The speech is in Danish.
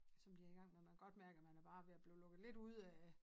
Som de er i gang med man kan godt mærke at man er bare ved at blive lukket lidt ude af